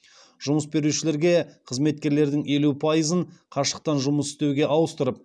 жұмыс берушілерге қызметкерлердің елу пайызын қашықтан жұмыс істеуге ауыстырып